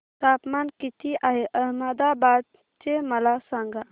तापमान किती आहे अहमदाबाद चे मला सांगा